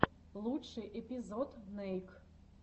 лучший эпизод нейк